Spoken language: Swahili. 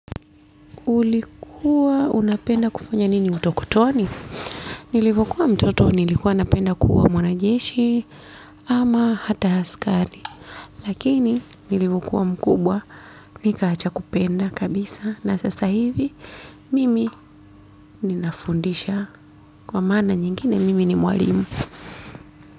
Ulikuwa unapenda kufanya nini utokotoni? Nilivokuwa mtoto nilikuwa napenda kuwa mwana jeshi ama hata askari. Lakini nilivokuwa mkubwa nikaacha kupenda kabisa na sasa hivi mimi ninafundisha kwa maana nyingine mimi ni mwalimu.